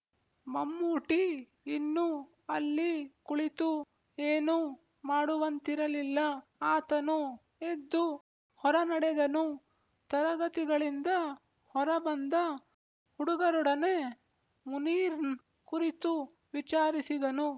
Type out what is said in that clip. ಮಮ್ಮೂಟಿ ಇನ್ನು ಅಲ್ಲಿ ಕುಳಿತು ಏನೂ ಮಾಡುವಂತಿರಲಿಲ್ಲ ಆತನು ಎದ್ದು ಹೊರನಡೆದನು ತರಗತಿಗಳಿಂದ ಹೊರ ಬಂದ ಹುಡುಗರೊಡನೆ ಮುನೀರ್‌ ಕುರಿತು ವಿಚಾರಿಸಿದನು